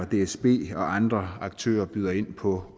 dsb andre aktører byder ind på